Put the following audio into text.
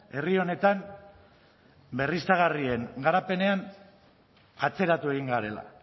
herri honetan berriztagarrien garapenean atzeratu egin garela